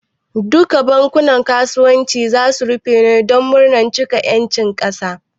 Duka bankunan kasuwanci ne zasu rufe don murnan cika ƴancin kasa?